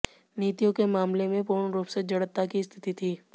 नीतियों के मामले में पूर्ण रूप से जड़ता की स्थिति थी